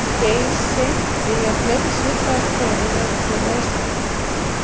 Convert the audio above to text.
Geysi því að fleiri svipaðir hverir eru til á Íslandi.